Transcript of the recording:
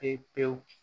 Pewu pewu